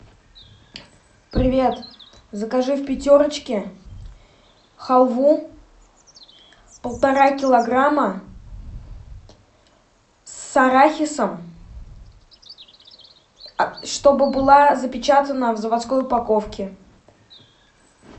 привет закажи в пятерочке халву полтора килограмма с арахисом чтобы была запечатана в заводской упаковке